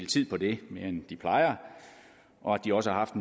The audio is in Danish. tid på det end de plejer og at de også har haft